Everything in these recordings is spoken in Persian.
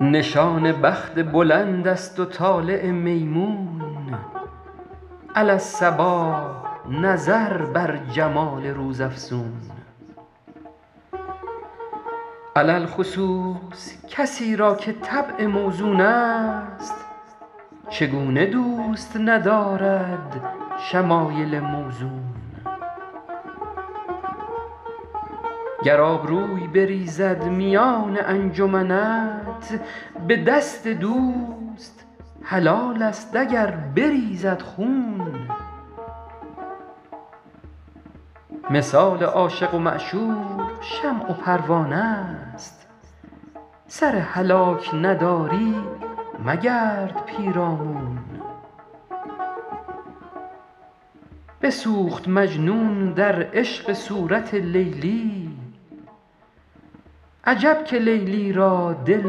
نشان بخت بلند است و طالع میمون علی الصباح نظر بر جمال روزافزون علی الخصوص کسی را که طبع موزون است چگونه دوست ندارد شمایل موزون گر آبروی بریزد میان انجمنت به دست دوست حلال است اگر بریزد خون مثال عاشق و معشوق شمع و پروانه ست سر هلاک نداری مگرد پیرامون بسوخت مجنون در عشق صورت لیلی عجب که لیلی را دل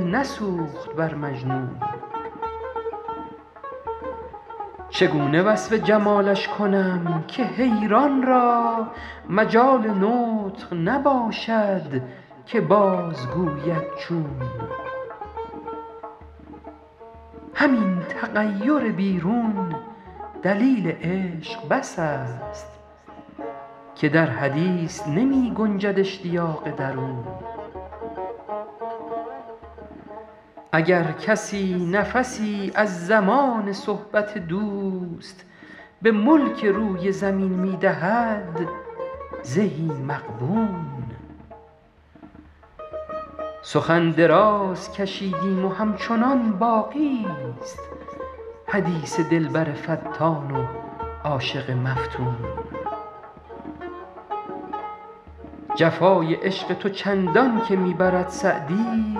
نسوخت بر مجنون چگونه وصف جمالش کنم که حیران را مجال نطق نباشد که بازگوید چون همین تغیر بیرون دلیل عشق بس است که در حدیث نمی گنجد اشتیاق درون اگر کسی نفسی از زمان صحبت دوست به ملک روی زمین می دهد زهی مغبون سخن دراز کشیدیم و همچنان باقی ست حدیث دلبر فتان و عاشق مفتون جفای عشق تو چندان که می برد سعدی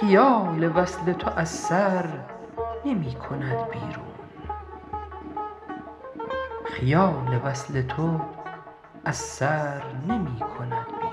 خیال وصل تو از سر نمی کند بیرون